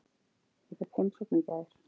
Ég fékk heimsókn í gær.